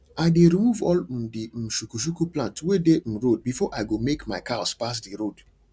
i dey remove all um the um shukushuku plants wey dey um road before i go make my cows pass d road